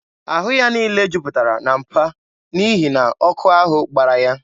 Ahụ ya niile juputara na mpa n'ihi na ọkụ ahụ gbara ya.